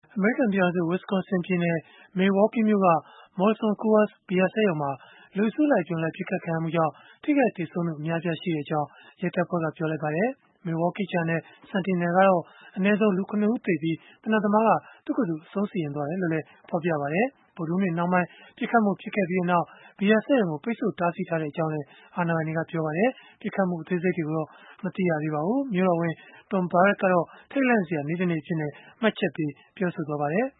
အမေရိကန် ပြည်ထောင်စု Wisconsin ပြည်နယ် Milwaukee မြို့က Molson Coors ဘီယာစက်ရုံမှာ လူအစုလိုက်အပြုံလိုက် ပစ်ခတ်ခံရမှုကြောင့် ထိခိုက်သေဆုံးမှု များပြားကြောင်း ရဲတပ်ဖွဲ့က ပြောပါတယ်။ Milwaukee Journal Sentinel ကတော့ အနည်းဆုံး လူ ၇ ဦးသေဆုံးပြီး၊ သေနတ်သမားကတော့ သူ့ကိုယ်သူ အဆုံးစီရင်သွားကြောင်း ဖော်ပြပါတယ်။ ဗုဒ္ဓဟူးနေ့ နှောင်းပိုင်းမှာ ပစ်ခတ်မှုဖြစ်ပွားခဲ့ပြီးနောက် ဘီယာစက်ရုံကို ပိတ်ဆို့တားဆီးထားကြောင်း ပြောဆိုခဲ့တာပါ။ ပစ်ခတ်မှုအသေးစိတ်ကိုတော့ မသိရသေးပါဘူး။ မြို့တော်ဝန် Tom Barrett ကတော့ ထိတ်လန့်စရာကောင်းတဲ့ ဖြစ်ရပ်အဖြစ်နဲ့ ပြောဆိုခဲ့ပါတယ်